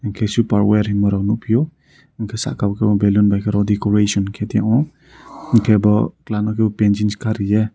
ke super wear hema nugfio enke saka o balloon bu decoration kei tio enke bo tang oi panchis ka ria.